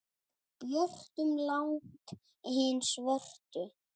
björtum langt hin svörtu.